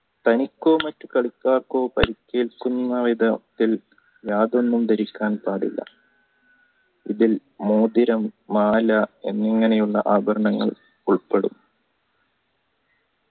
തനിക്കോ മറ്റു കളിക്കാർക്കോ പരിക്കേൽക്കുന്ന വിധത്തിൽ യാതൊന്നും ധരിക്കാൻ പാടില്ല ഇതിൽ മോതിരം മാല എന്നിങ്ങനെയുള്ള ആഭരണങ്ങൾ ഉൾപെടും